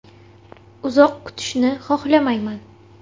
Uzoq kutishni xohlamayman.